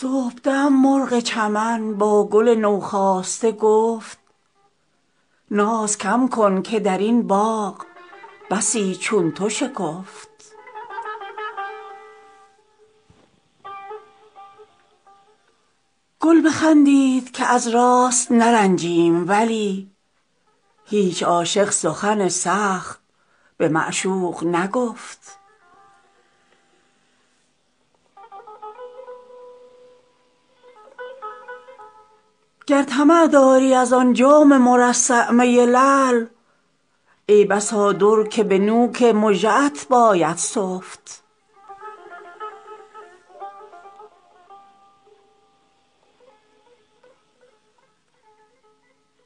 صبحدم مرغ چمن با گل نوخاسته گفت ناز کم کن که در این باغ بسی چون تو شکفت گل بخندید که از راست نرنجیم ولی هیچ عاشق سخن سخت به معشوق نگفت گر طمع داری از آن جام مرصع می لعل ای بسا در که به نوک مژه ات باید سفت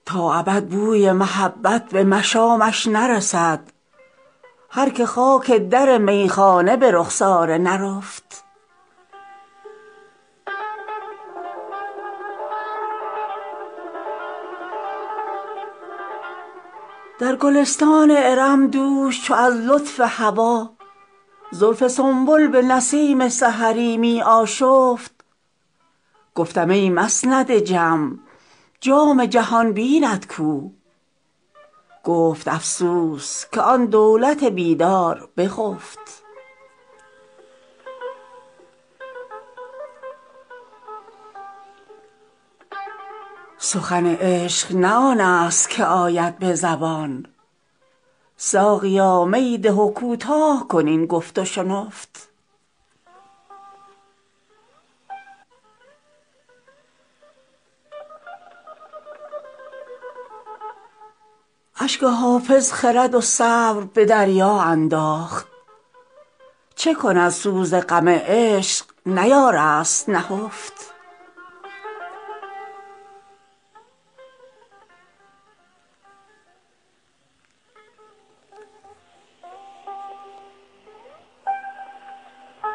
تا ابد بوی محبت به مشامش نرسد هر که خاک در میخانه به رخسار نرفت در گلستان ارم دوش چو از لطف هوا زلف سنبل به نسیم سحری می آشفت گفتم ای مسند جم جام جهان بینت کو گفت افسوس که آن دولت بیدار بخفت سخن عشق نه آن است که آید به زبان ساقیا می ده و کوتاه کن این گفت و شنفت اشک حافظ خرد و صبر به دریا انداخت چه کند سوز غم عشق نیارست نهفت